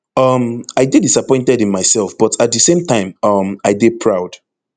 um i dey disappointed in mysef but at di same time um i dey proud